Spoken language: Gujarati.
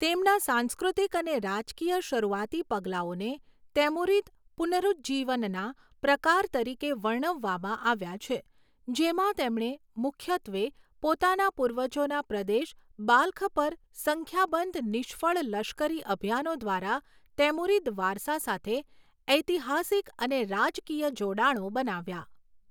તેમના સાંસ્કૃતિક અને રાજકીય શરૂઆતી પગલાંઓને તૈમુરિદ પુનરુજ્જીવનના પ્રકાર તરીકે વર્ણવવામાં આવ્યા છે, જેમાં તેમણે મુખ્યત્વે પોતાના પૂર્વજોના પ્રદેશ બાલ્ખ પર સંખ્યાબંધ નિષ્ફળ લશ્કરી અભિયાનો દ્વારા તૈમુરિદ વારસા સાથે ઐતિહાસિક અને રાજકીય જોડાણો બનાવ્યા.